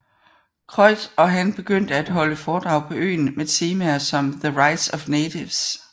Croix og han begyndte at holde foredrag på øen med temaer som The Rights of Natives